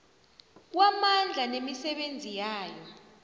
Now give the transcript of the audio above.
kwamandla nemisebenzi yayo